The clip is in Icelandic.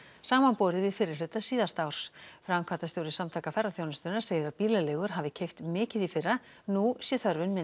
samanborið við fyrri hluta síðasta árs framkvæmdastjóri Samtaka ferðaþjónustunnar segir að bílaleigur hafi keypt mikið í fyrra nú sé þörfin